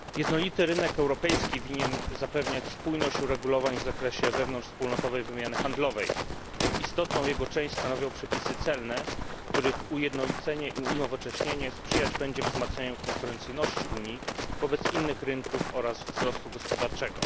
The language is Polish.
Pani Przewodnicząca! Jednolity rynek europejski winien zapewniać spójność uregulowań w zakresie wewnątrzwspólnotowej wymiany handlowej. Istotną jego część stanowią przepisy celne, których ujednolicenie i unowocześnienie sprzyjać będzie zwiększaniu konkurencyjności Unii wobec innych rynków oraz wzrostu gospodarczego.